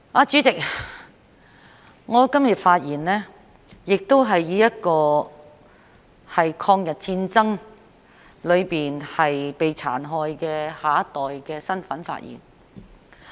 主席，我今天亦是以一個在抗日戰爭中被殘害的下一代的身份發言。